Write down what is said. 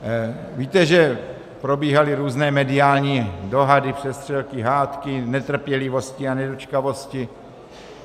Víte, že probíhaly různé mediální dohady, přestřelky, hádky, netrpělivosti a nedočkavosti.